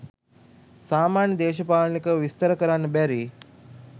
සාමාන්‍ය දේශපාලනිකව විස්තර කරන්න බැරි